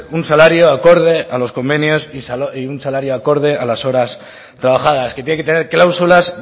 un salario acorde a los convenios y un salario acorde a las horas trabajadas que tiene que tener cláusulas